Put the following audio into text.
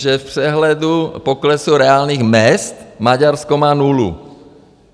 Že v přehledu poklesu reálných mezd Maďarsko má nulu.